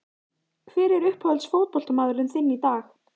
Hver er uppáhalds fótboltamaðurinn þinn í dag?